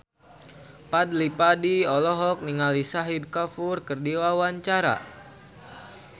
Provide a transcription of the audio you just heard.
Fadly Padi olohok ningali Shahid Kapoor keur diwawancara